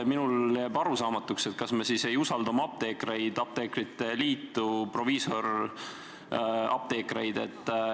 Minule jääb arusaamatuks, kas me siis ei usalda oma apteekreid, apteekrite liitu, proviisoriapteeke.